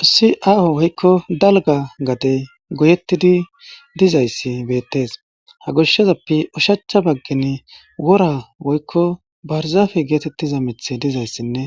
Ossi aaho woykko dalga gade goyettidi dizayssi beettees ha goshshezappe ushacha baggin wora woykko barzaafe geetettiza mithe dizayssinne